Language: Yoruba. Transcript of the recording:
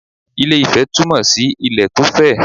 Ilé - ifẹ̀ túmọ̀ sí ilẹ̀ tó fẹ̀